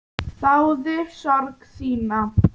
Þáði sorg þína.